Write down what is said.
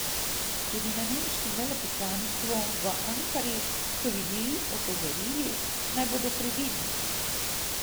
Tudi na nemškem veleposlaništvu v Ankari so ljudi opozorili, naj bodo previdni.